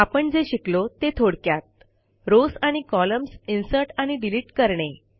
आपण जे शिकलो ते थोडक्यात रॉव्स आणि कॉलम्स इन्सर्ट आणि डिलीट करणे